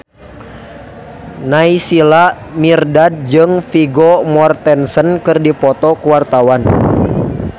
Naysila Mirdad jeung Vigo Mortensen keur dipoto ku wartawan